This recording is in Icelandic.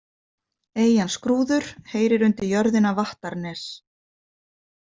Eyjan Skrúður heyrir undir jörðina Vattarnes.